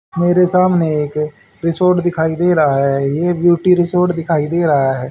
मेरे सामने एक रिसॉर्ट दिखाई दे रहा है ये ब्यूटी रिसॉर्ट दिखाई दे रहा है।